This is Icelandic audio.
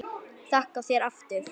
Þakka þér aftur fyrir.